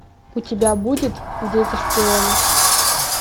у тебя будет дети шпионы